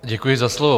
Děkuji za slovo.